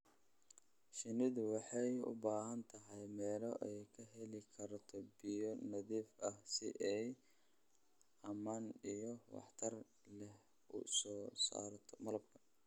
Shinnidu waxay u baahan tahay meelo ay ka heli karto biyo nadiif ah si ay ammaan iyo waxtar leh u soo saarto malabka.